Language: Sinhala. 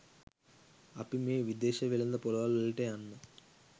අපි මේ විදේශ වෙළෙඳ ‍පොළවල්වලට යන්න